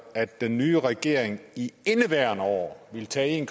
at den nye regering i indeværende år ville tage en